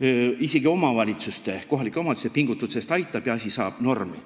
aitab isegi kohalike omavalitsuste pingutustest ja asi saab normi.